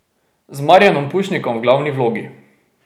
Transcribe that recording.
Z Marijanom Pušnikom v glavni vlogi.